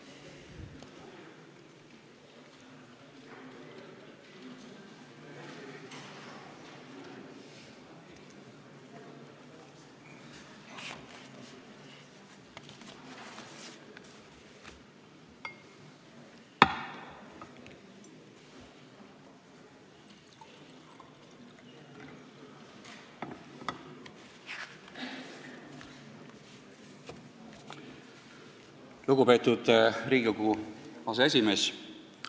Lugupeetud Riigikogu aseesimees!